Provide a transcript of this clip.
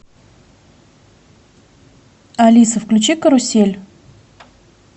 алиса включи карусель